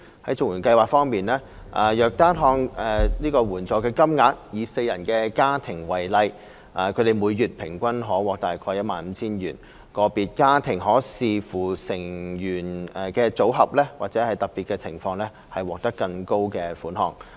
在綜援計劃方面，若單看援助金額，以四人家庭為例，他們每月平均可獲約 15,000 元，個別家庭可視乎成員的組合或特別情況獲得更高的款項。